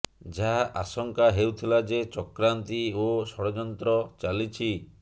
ଯାହା ଆଶଙ୍କା ହେଉଥିଲା ଯେ ଚକ୍ରାନ୍ତି ଓ ଷଡ଼ଯନ୍ନ ଚାଲିଛି